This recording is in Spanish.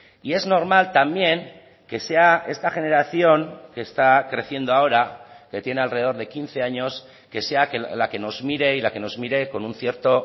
y es normal también que sea esta generación que está creciendo ahora que tiene alrededor de quince años que sea la que nos mire y la que nos mire con un cierto